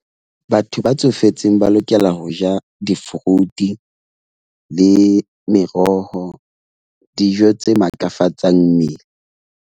Batho ba tsofetseng ba lokela ho ja di-fruit le meroho, dijo tse matlafatsang mmele.